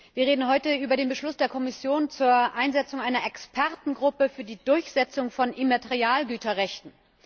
Wir reden heute über den Beschluss der Kommission zur Einsetzung einer Expertengruppe für die Durchsetzung von Immaterialgüterrechten.